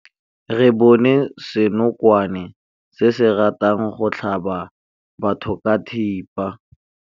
Re bone senokwane se se ratang go tlhaba batho ka thipa.